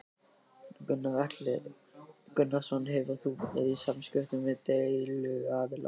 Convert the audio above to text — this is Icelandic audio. Gunnar Atli Gunnarsson: Hefur þú verið í samskiptum við deiluaðila?